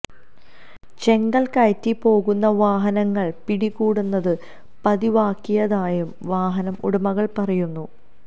ചെങ്കല് കയറ്റി പോകുന്ന വാഹനങ്ങള് പിടികൂടുന്നത് പതിവാക്കിയതായും വാഹന ഉടമകള് പറയുന്നു